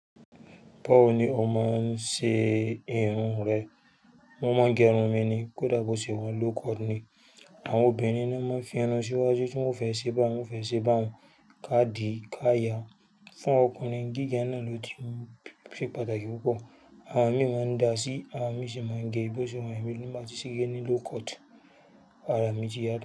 Bawọ̀ ní o máa ń ṣe irun rẹ, mo máa ń gẹrun mi ni. Kódà bó ṣe wa ń low cut ni àwọn obìnrin ni wọ́n máa ń fi irun síwájú tí wọ́n o fẹ́ ṣe bá un, wọ́n fẹ́ ṣe bá un ká di ká ya. Fún ọkùnrin, gígẹ náà ló ti ṣe pàtàkì púpọ̀. Àwọn mi máa ń dá sí, àwọn mi sì máa ń gé bó ṣe wa yeń èmi tín bá tí ṣe gẹ́ ní low cut. Àrà mí tì yàtọ̀